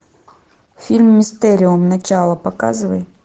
фильм мистериум начало показывай